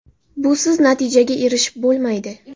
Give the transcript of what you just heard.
Busiz natijaga erishib bo‘lmaydi.